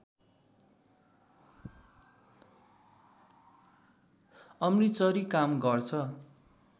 अमृतसरी काम गर्छ